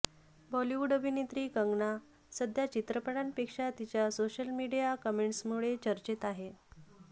बॉलिवूड अभिनेत्री कंगना सध्या चित्रपटांपेक्षा तिच्या सोशल मीडिया कमेंट्समुळे चर्चेत आहे